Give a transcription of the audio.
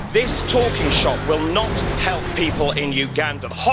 This talking shop will not help people in Uganda.